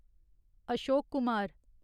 Ashok Kumar